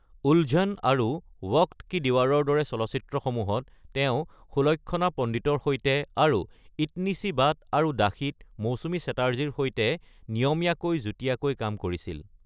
ওলঝন আৰু ৱক্ত কি ডীৱাৰৰ দৰে চলচ্চিত্ৰসমূহত তেওঁ সুলক্ষণা পণ্ডিতৰ সৈতে, আৰু ইতনি চি বাত আৰু দাসীত মৌচুমী চেটাৰ্জীৰ সৈতে নিয়মীয়াভাৱে যুটীয়াকৈ কাম কৰিছিল।